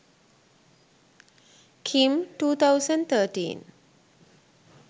kim 2013